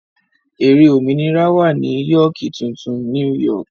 Ère òmìnira wà ní Yóókì tuntun ( New York).